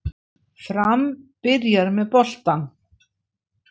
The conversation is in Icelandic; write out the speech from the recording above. Fram byrjar með boltann